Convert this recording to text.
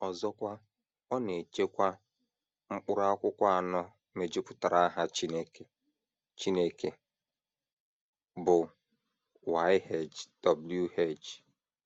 Ọzọkwa, ọ na - echekwa... mkpụrụ akwụkwọ anọ mejupụtara aha Chineke Chineke, bụ́ YHWH. ”